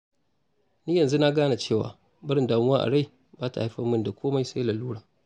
Ni yanzu na gane cewa, barin damuwa a rai ba ta haifar min da komai sai lalura